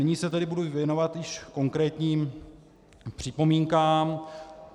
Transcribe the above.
Nyní se tedy budu věnovat již konkrétním připomínkám.